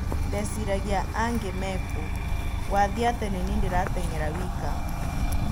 "Ndeciragia - 'angĩ mekũũ, gũathiĩ atĩa nĩniĩ ndĩrateng'era wika?